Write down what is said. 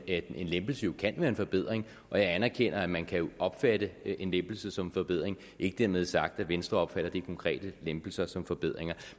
en lempelse kan være en forbedring og jeg anerkender at man kan opfatte en lempelse som en forbedring ikke dermed sagt at venstre opfatter de konkrete lempelser som forbedringer